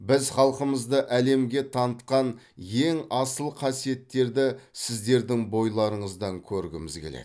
біз халқымызды әлемге танытқан ең асыл қасиеттерді сіздердің бойларыңыздан көргіміз келеді